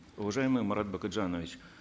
уважаемый марат бакытжанович